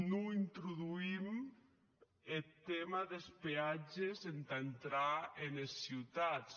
non introduïm eth tèma des peatges entà entrar enes ciutats